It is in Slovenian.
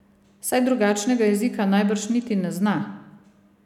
Saj drugačnega jezika najbrž niti ne zna.